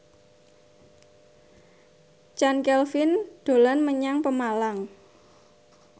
Chand Kelvin dolan menyang Pemalang